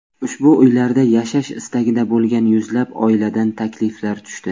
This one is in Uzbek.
Ushbu uylarda yashash istagida bo‘lgan yuzlab oiladan takliflar tushdi.